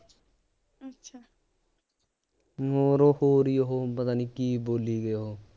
ਮੋਰੋਂ ਹੋਰ ਈ ਉਹ ਪਤਾ ਨਹੀਂ ਕੀ ਬੋਲੀ ਗਏ ਉਹ